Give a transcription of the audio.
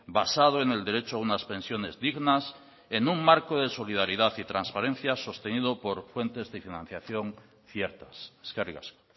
basado en el derecho a unas pensiones dignas en un marco de solidaridad y transparencia sostenido por fuentes de financiación ciertas eskerrik asko